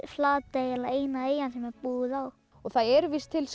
Flatey eina eyjan sem er búið á það eru víst til